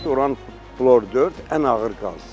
Uran flor 4 ən ağır qazdır.